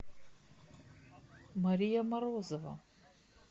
мария морозова